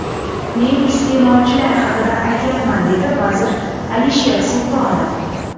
Men iste’molchilar haqida ham aytyapman”, dedi vazir Alisher Sultonov.